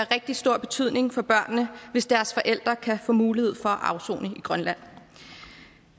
rigtig stor betydning for børnene hvis deres forældre kan få mulighed for at afsone i grønland